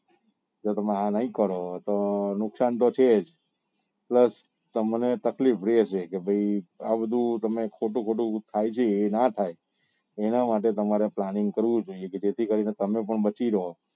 જો તમે આ નહિ કરો તો નુકસાન તો છે જ plus તમને તકલીફ રે છે કે ભાઈ આ બધું ખોટું ખોટું થાય છે એ નાં થાય એના માટે તમારે planning કરવું જોઈએ કે જેથી કરી ને તમે પણ બચી રહો